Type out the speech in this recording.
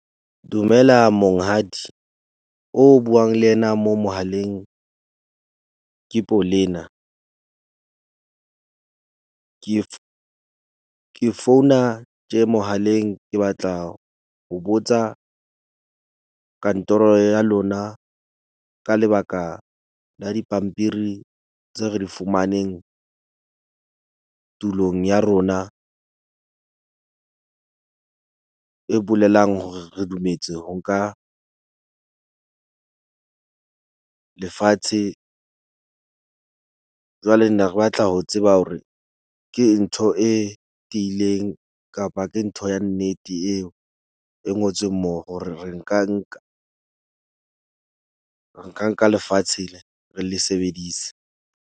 Dumela monghadi oo o buang le yena mo mohaleng ke Polena. Ke founa tje mohaleng ke batla ho botsa kantoro ya lona ka lebaka la dipampiri tseo re di fumaneng tulong ya rona. E bolelang hore re dumetse ho ka lefatshe. Jwale ne re batla ho tseba hore ke ntho e tiileng kapa ke ntho ya nnete eo e ngotsweng moo, hore re ka nka lefatshe le, re le sebedise.